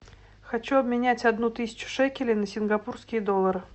хочу обменять одну тысячу шекелей на сингапурские доллары